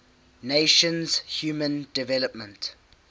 nations human development